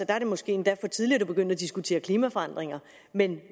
er det måske endda for tidligt at begynde at diskutere klimaforandringer men